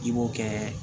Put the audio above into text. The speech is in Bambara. I b'o kɛ